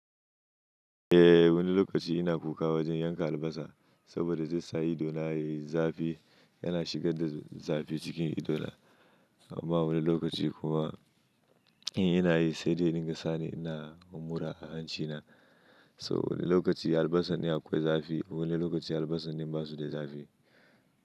Eh wani lokaci ina kuka wajen yanka albasa saboda zai sa idona ya yi zafi yana sa zafi ya shiga”. Amma wani lokaci kuma idan ina yi dai ya dinga sani ina mura a hancina. So wani lokaci albasar ce akwai zafi, wani lokaci albasar ne ba ta da zafi.